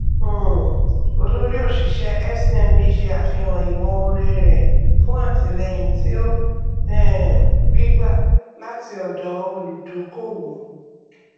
um olórí oṣíṣẹ fcmb ṣe àfihàn ìmọ oore rẹ fún àtìlẹyìn tí ó um rí gbà láti ọdọ olùdókówó